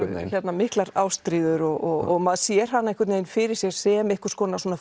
miklar ástríður og maður sér hana einhvern veginn fyrir sér sem einhvers konar